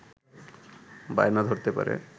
বায়না ধরতে পারে